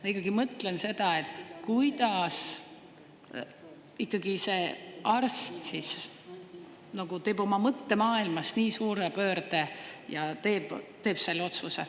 Ma ikkagi mõtlen seda, et kuidas ikkagi see arst teeb oma mõttemaailmas nii suure pöörde ja teeb selle otsuse.